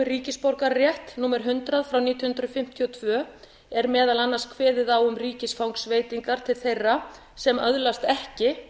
um ríkisborgararétt númer hundrað nítján hundruð fimmtíu og tvö er meðal annars kveðið á um ríkisfangsveitingar til þeirra sem öðlast ekki